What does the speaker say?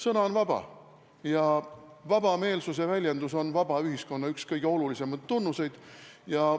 " Sõna on vaba ja vabameelsuse väljendus on vaba ühiskonna üks kõige olulisemaid tunnuseid.